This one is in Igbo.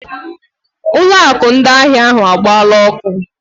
Ụlọ akụ ndị ahịa ahụ agbaala ọkụ.